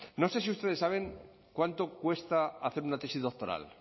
no sé si ustedes saben cuánto cuesta hacer una tesis doctoral